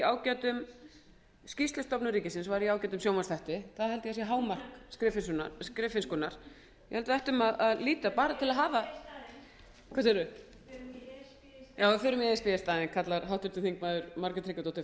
hún aftur skýrslustofnun ríkisins var í ágætum sjónvarpsþætti það held ég að sé hámark skriffinnskunnar ég held að við ættum að líta bara til að hafa hvað segirðu förum í e s b í staðinn já förum í e